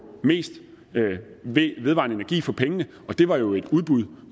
mest vedvarende energi for pengene det var jo et udbud